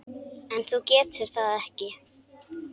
En þú getur það ekki.